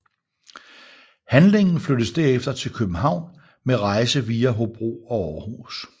Handlingen flyttes derefter til København med rejse via Hobro og Aarhus